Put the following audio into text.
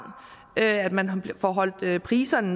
at man får holdt priserne